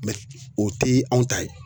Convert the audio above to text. Mɛ o te anw ta ye